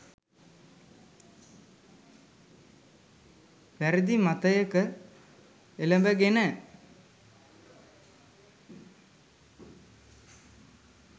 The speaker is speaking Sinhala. වැරදි මතයක එළඹගෙන.